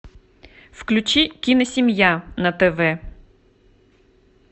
включи киносемья на тв